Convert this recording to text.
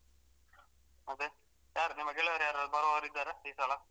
ಮತ್ತೆ ಯಾರು ನಿಮ್ಮ ಗೆಳೆಯರು ಯಾರಾದ್ರು ಬರುವವರು ಇದ್ದಾರಾ ಈಸಲ.